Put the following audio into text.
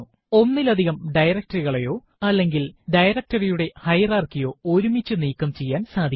ഒന്നിലധികം directory കളയോ അല്ലെങ്കിൽ directory യുടെ ഹയറാർക്കി യോ ഒരുമിച്ചു നീക്കം ചെയ്യാൻ സാധിക്കും